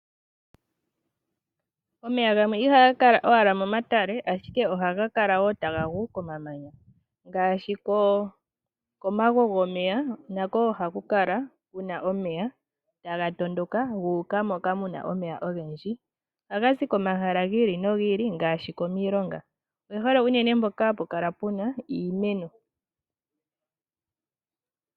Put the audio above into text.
Omeya gamwe ihaga kala owala momatele ashike ohaga kala wo tagagu komamanya, ngashi komawe gomeya nako oha kukala Kuna omeya taga tondoka guka moka muna omeya ogendji. ohaga zi komahala gili no gili ngashi komilonga oge hole uunene mpoka hapu kala puna iimeno.